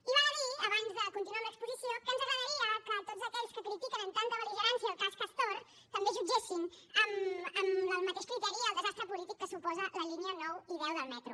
i val a dir abans de continuar amb l’exposició que ens agradaria que tots aquells que critiquen amb tanta bel·ligerància el cas castor també jutgessin amb el mateix criteri el desastre polític que suposen les línies nou i deu del metro